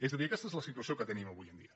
és a dir aquesta és la situació que tenim avui dia